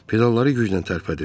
Pedalları güclə tərpədirdi.